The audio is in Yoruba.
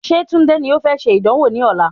Ṣé Tunde ni o fẹ́ ṣe ìdánwò ní ọ̀la?